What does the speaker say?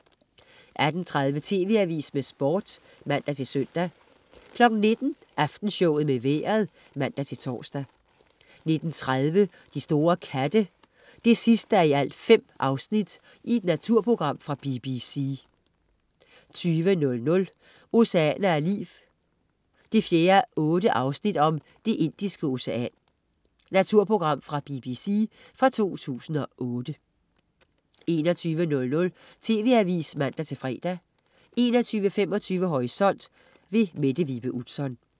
18.30 TV Avisen med Sport (man-søn) 19.00 Aftenshowet med Vejret (man-tors) 19.30 De store katte 5:5. Naturprogram fra BBC 20.00 Oceaner af liv 4:8. "Det Indiske Ocean". Naturprogram fra BBC fra 2008 21.00 TV Avisen (man-fre) 21.25 Horisont. Mette Vibe Utzon